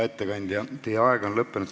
Hea ettekandja, teie aeg on lõppenud.